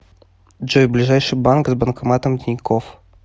джой ближайший банк с банкоматом тинькофф